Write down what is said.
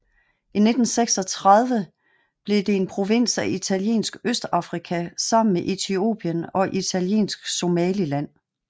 I 1936 blev det en provins af Italiensk Østafrika sammen med Etiopien og Italiensk Somaliland